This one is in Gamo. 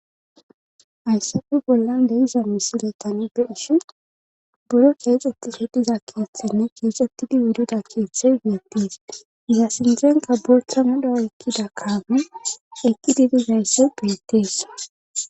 Hayssafe bollan leiza misile tani be ishin buro keexxetti hediza keeththenne keexettidi wudida keeththey wiyettiis iza sindzenka bortha mudha ekkida kaame ekki didizaysse beettees